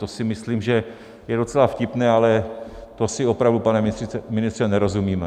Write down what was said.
To si myslím, že je docela vtipné, ale to si opravdu, pane ministře, nerozumíme.